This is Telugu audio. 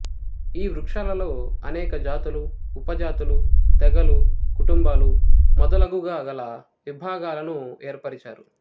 ఈ వృక్షాలలో అనేక జాతులు ఉప జాతులు తెగలు కుటుంబాలు మొదలగుగా గల విభాగాలను ఏర్పరిచారు